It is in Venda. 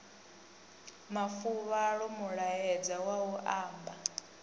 mafuvhalo mulaedza wa u amba